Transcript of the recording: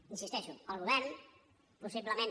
hi insisteixo el govern possiblement